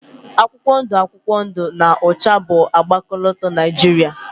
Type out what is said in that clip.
akwụkwọ ndụ akwụkwọ ndụ na ọcha bụ agba ọkọlọtọ Niajiria